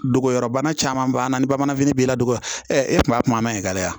Dogoyɔrɔbana caman b'a la ni bamananfini b'i la dɔgɔya e kun b'a kuma ma ɲi ka